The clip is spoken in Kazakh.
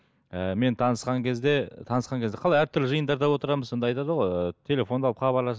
ііі мен танысқан кезде танысқан кезде қалай әртүрлі жиындарда отырамыз сонда айтады ғой ыыы телефонды алып хабарласып